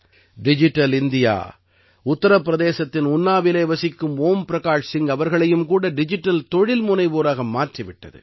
digital India உத்தர பிரதேசத்தின் உன்னாவிலே வசிக்கும் ஓம் பிரகாஷ் சிங் அவர்களையும் கூட டிஜிட்டல் தொழில்முனைவோராக மாற்றி விட்டது